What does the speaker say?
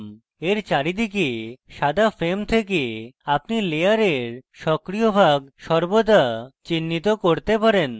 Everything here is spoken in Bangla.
এর চারিদিকে সাদা frame থেকে আপনি layer সক্রিয় ভাগ সর্বদা চিহ্নিত করতে পারেন